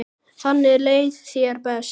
Þannig leið þér best.